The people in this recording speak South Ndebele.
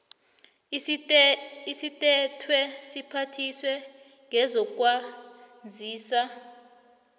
esithethwe siphathiswa sezokwazisa